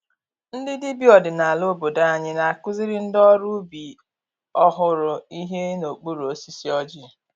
Ndị dibịa ọdinala obodo anyị na-akụziri ndị ọrụ ubi ọhụrụ ihe n’okpuru osisi ọjị.